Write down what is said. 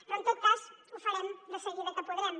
però en tot cas ho farem de seguida que podrem